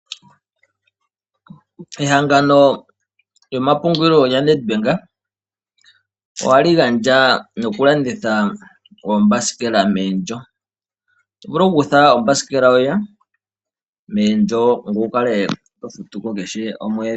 Ehangano lyomapungulilo lya Nedbank, ohali gandja noku landitha oombasikela meendjo. Oto vulu oku kutha ombasikela yoye meendjo, ngoye wu kale to futu ko kehe omwedhi.